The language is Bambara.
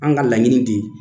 An ka laɲini de ye